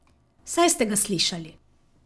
Saj ste ga slišali.